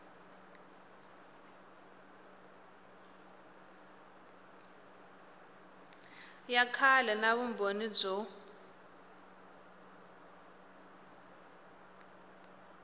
ya kahle na vumbhoni byo